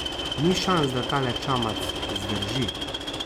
Ni šans, da tale čamac zdrži.